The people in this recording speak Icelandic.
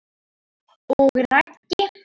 Og Raggi?